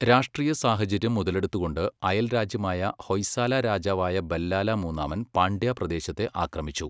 രാഷ്ട്രീയ സാഹചര്യം മുതലെടുത്തുകൊണ്ട് അയൽരാജ്യമായ ഹൊയ്സാല രാജാവായ ബല്ലാല മൂന്നാമൻ പാണ്ഡ്യ പ്രദേശത്തെ ആക്രമിച്ചു.